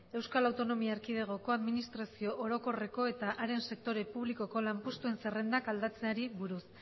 eaeko administrazio orokorreko eta haren sektore publikoko lanpostuen zerrendak aldatzeari buruz